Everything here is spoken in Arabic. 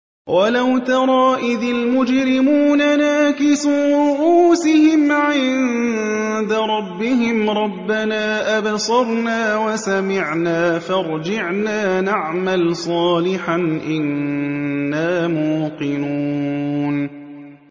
وَلَوْ تَرَىٰ إِذِ الْمُجْرِمُونَ نَاكِسُو رُءُوسِهِمْ عِندَ رَبِّهِمْ رَبَّنَا أَبْصَرْنَا وَسَمِعْنَا فَارْجِعْنَا نَعْمَلْ صَالِحًا إِنَّا مُوقِنُونَ